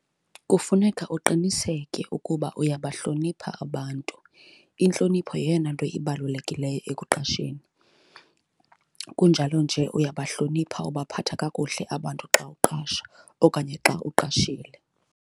Kufuneka uqiniseke ukuba uyabahlonipha abantu, intlonipho yeyona nto ibalulekileyo ekuqasheni. Kunjalo nje uyabahlonipha, ubaphatha kakuhle abantu xa uqasha okanye xa uqashile.